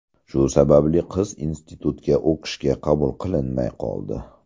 Shu sababli qiz institutga o‘qishga qabul qilinmay qoldi.